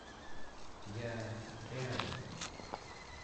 я рядом